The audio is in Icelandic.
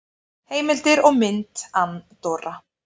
Heimildir og mynd Andorra.